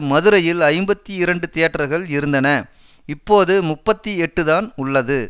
மதுரையில் ஐம்பத்தி இரண்டு தியேட்டர்கள் இருந்தன இப்போது முப்பத்தி எட்டுதான் உள்ளது